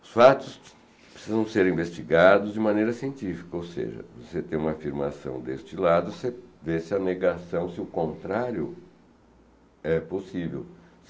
Os fatos precisam ser investigados de maneira científica, ou seja, você tem uma afirmação deste lado, você vê se há negação, se o contrário é possível.